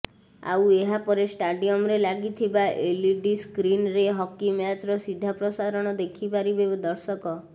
ଆଉ ଏହାପରେ ଷ୍ଟାଡିୟମରେ ଲାଗିଥିବା ଏଲଇଡି ସ୍କ୍ରିନରେ ହକି ମ୍ୟାଚର ସିଧାପ୍ରସାରଣ ଦେଖିପାରିବେ ଦର୍ଶକ